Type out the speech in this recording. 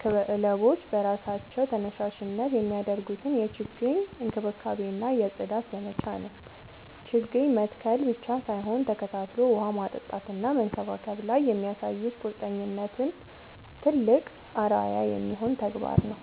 ክለቦች በራሳቸው ተነሳሽነት የሚያደርጉትን የችግኝ እንክብካቤና የጽዳት ዘመቻ ነው። ችግኝ መትከል ብቻ ሳይሆን ተከታትሎ ውሃ ማጠጣትና መንከባከብ ላይ የሚያሳዩት ቁርጠኝነት ትልቅ አርአያ የሚሆን ተግባር ነው።